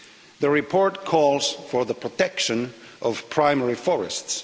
The report calls for the protection of primary forests.